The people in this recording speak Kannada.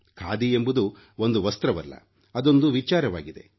ಖಾದಿ ಎಂಬುದು ಒಂದು ವಸ್ತ್ರವಲ್ಲ ಅದೊಂದು ವಿಚಾರವಾಗಿದೆ